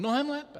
Mnohem lépe!